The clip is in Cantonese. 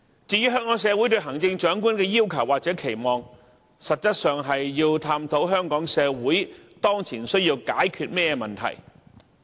至於香港社會對行政長官的要求或期望，實際是要探討香港社會當前所需要解決的問題。